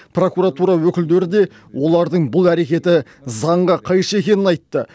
прокуратура өкілдері де олардың бұл әрекеті заңға қайшы екенін айтты